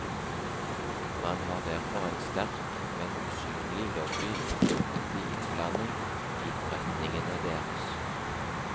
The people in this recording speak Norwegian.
Man har derfor en sterk, men usynlig lobby mot offentlig innblanding i forretningene deres.